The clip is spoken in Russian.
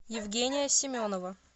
евгения семенова